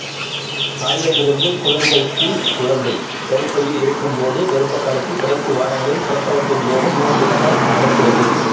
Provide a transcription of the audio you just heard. தாயிடமிருந்து குழந்தைக்குகுழந்தை கருப்பையில் இருக்கும்போதே கர்ப்பகாலத்தின் கடைசி வாரங்களிலும் பிரசவத்தின் போதும் நோய்த் தொற்றல் நடக்கிறது